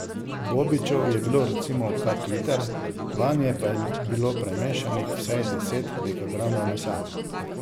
Bobičev je bilo recimo kak liter, vanje pa je bilo primešanih vsaj deset dekagramov mesa.